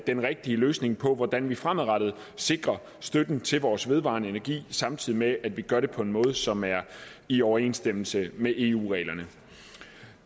den rigtige løsning på hvordan vi fremadrettet sikrer støtten til vores vedvarende energi samtidig med at vi gør det på en måde som er i overensstemmelse med eu reglerne